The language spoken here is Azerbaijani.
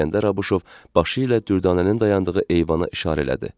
İsgəndər Abuşov başı ilə Dürdanənin dayandığı eyvana işarə elədi.